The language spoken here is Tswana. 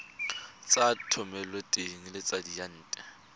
tsa thomeloteng le tsa diyantle